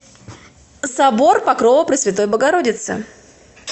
собор покрова пресвятой богородицы